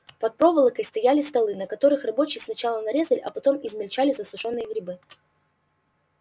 под проволокой стояли столы на которых рабочие сначала нарезали а потом измельчали засушённые грибы